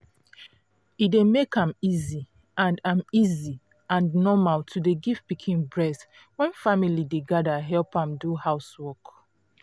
e dey make am easy and am easy and normal to dey give pikin breast when family dey gather help am do housework.